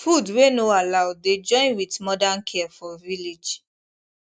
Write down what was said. food wey no allow dey join with modern care for village